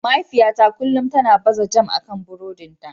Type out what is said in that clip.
Mahaifiyata kullum tana baza jam akan buroɗin ta.